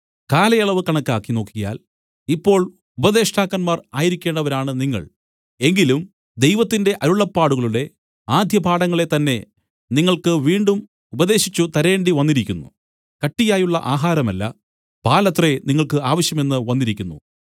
കാലയളവ് കണക്കാക്കി നോക്കിയാൽ ഇപ്പോൾ ഉപദേഷ്ടാക്കന്മാർ ആയിരിക്കേണ്ടവരാണ് നിങ്ങൾ എങ്കിലും ദൈവത്തിന്റെ അരുളപ്പാടുകളുടെ ആദ്യപാഠങ്ങളെ തന്നേ നിങ്ങൾക്ക് വീണ്ടും ഉപദേശിച്ചു തരേണ്ടിവന്നിരിക്കുന്നു കട്ടിയായുള്ള ആഹാരമല്ല പാലത്രേ നിങ്ങൾക്ക് ആവശ്യമെന്ന് വന്നിരിക്കുന്നു